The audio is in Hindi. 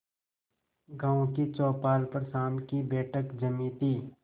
गांव की चौपाल पर शाम की बैठक जमी थी